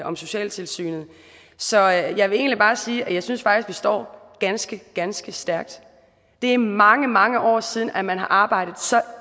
om socialtilsynet så jeg vil egentlig bare sige at jeg synes at vi står ganske ganske stærkt det er mange mange år siden at man har arbejdet så